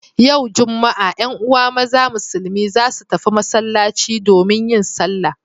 Yau Juma'a 'yan uwa maza musulmi za su tafi masallaci domin yin sallah.